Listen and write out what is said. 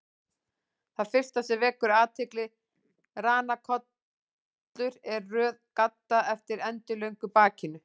Það fyrsta sem vekur athygli við ranakollur er röð gadda eftir endilöngu bakinu.